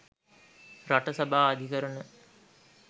රට සභා අධිකරණ